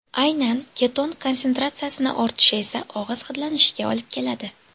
Aynan keton konsentratsiyasini ortishi esa og‘iz hidlanishiga olib keladi.